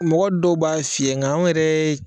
Mɔgɔ dɔw b'a fiyɛ nga anw yɛrɛ ye.